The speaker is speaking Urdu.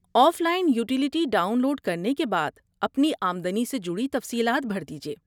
Of line utility download کرنے کے بعد، اپنی آمدنی سے جڑی تفصیلات بھر دیجئے۔